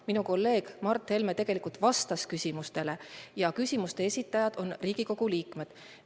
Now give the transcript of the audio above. Minu kolleeg Mart Helme tegelikult vastas küsimustele ja küsimuste esitajad on Riigikogu liikmed.